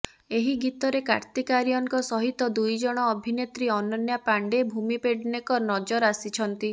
ଏହି ଗୀତରେ କାର୍ତ୍ତିକ ଆର୍ୟନଙ୍କ ସହିତ ଦୁଇ ଜଣ ଅଭିନେତ୍ରୀ ଅନନ୍ୟା ପାଣ୍ଡେ ଭୂମି ପେଡନେକର ନଜର ଆସିଛନ୍ତି